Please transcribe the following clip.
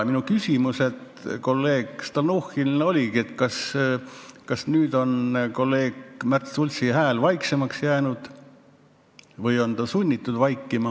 Minu küsimus kolleeg Stalnuhhinile oligi, kas nüüd on kolleeg Märt Sultsi hääl vaiksemaks jäänud või on ta sunnitud vaikima.